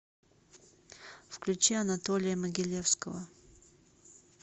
включи анатолия могилевского